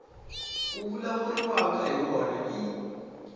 ku vulavuriwaka hi wona i